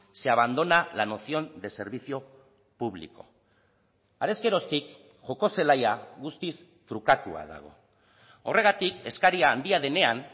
se abandona la noción de servicio público harez geroztik joko zelaia guztiz trukatua dago horregatik eskaria handia denean